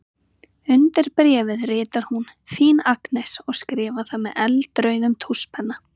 Undir bréfið ritar hún: Þín Agnes og skrifar það með eldrauðum tússpenna.